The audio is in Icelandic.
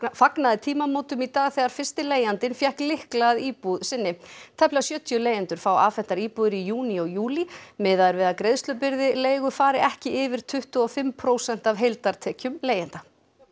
fagnaði tímamótum í dag þegar fyrsti leigjandinn fékk lykla að íbúð sinni tæplega sjötíu leigjendur fá afhentar íbúðir í júní og júlí miðað er við að greiðslubyrði leigu fari ekki yfir tuttugu og fimm prósent af heildartekjum leigjenda